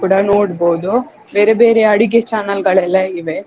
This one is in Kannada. ಕೂಡ ನೋಡ್ಬೋದು ಬೇರೆ ಬೇರೆ ಅಡಿಗೆ channel ಗಳೆಲ್ಲ ಇವೆ.